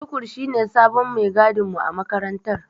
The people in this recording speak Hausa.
Tukur shine sabon maigadinmu a makarantar.